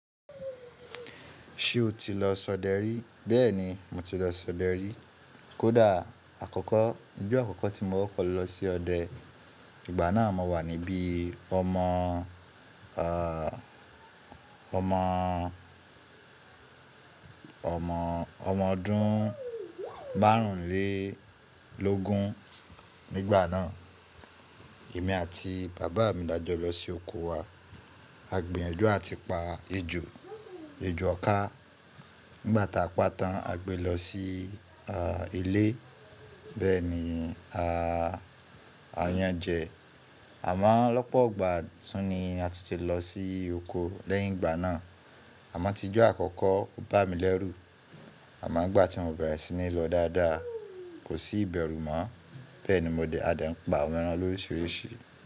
Ṣé o ti lọ s'ọdẹ rí? Bẹ́ẹ̀ni, mo ti lọ s'ọdẹ rí. Kódà àkọ́kọ́, ijọ́ àkọ́kọ́ tí mo kọkọ̀ lọ sí ọdẹ, ìgbà náà mo wà níbií ọmọo, ehh, omoo ọmọ ọdún márùnlélógún nígbà náà. Èmi àti bàbaá mi lá jọ lọ sí oko wa. A gbinyanju àti pa ejò, ejò ọká. Nígbà táa pa tán, a gbé lọ sí ahh ilé. Bẹ́ẹ̀ni a, a yan-an jẹ. Àmoọ́ lọ́pọ̀ogbà tún ni a tun ti lọ sí oko lẹ́yìn ìgbà náà. Àmọ́ tíjọ́ àkọ́kọ́ bá mi lẹ́rù. Àmọ́ ìgbà tí mo bẹ̀rẹ̀ sí ní lọ dáadáa, kò sí ìbẹ̀rù mọ́. Bẹ́ẹ̀ni mo dé a dè n pa àwọn ẹran loríṣíríṣìí.